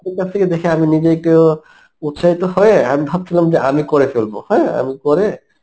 ওর কাছ থেকে দেখে আমি নিজে একটু উৎসাহিত হয়ে, আমি ভাবছিলাম যে আমি করে ফেলব হ্যাঁ আমি করে